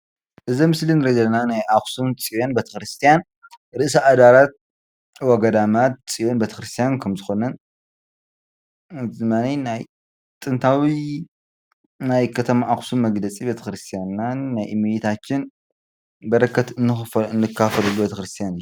እዚ ኣብ ምስሊ እንሪኦ ዘለና ናይ ኣክሱም ፅዮን ቤተክርስትያን ርእሲ ኣድባራት ወገዳማት ፅዮን ቤተክርስትያን ከም ዝኮነን እዚ ድማ ናይ ጥንታዊ ናይ ከተማ ኣክሱም መግለፂ ቤተክርስትያንናን ናይ እሜታችን በረከት እንካፈለሉን ቤተክርስትያን እዩ፡፡